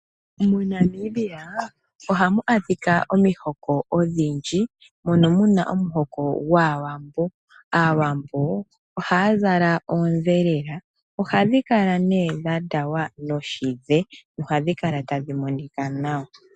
MoNamibia ohamu adhika omihoko odhindji mono muna omuhoko gwaawambo. Aawambo ohaya zala ondhelela . Oha dhi kala nee dhandawa noshidhe nohadhi kala tadhi monika nawa.